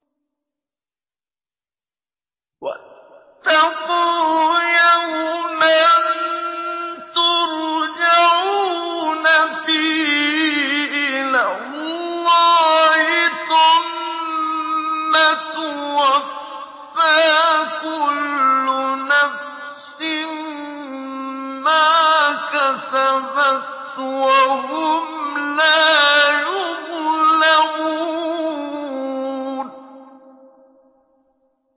وَاتَّقُوا يَوْمًا تُرْجَعُونَ فِيهِ إِلَى اللَّهِ ۖ ثُمَّ تُوَفَّىٰ كُلُّ نَفْسٍ مَّا كَسَبَتْ وَهُمْ لَا يُظْلَمُونَ